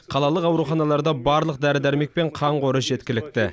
қалалық ауруханаларда барлық дәрі дәрмек пен қан қоры жеткілікті